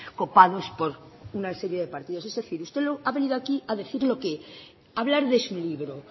copados por una serie de partidos es decir usted ha venido aquí a hablar de su libro